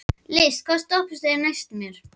List, hvaða stoppistöð er næst mér?